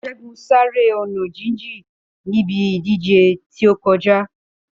Ṣégun sá eré ọ̀nà jíjìn níbi ìdíje tí ó kọjá.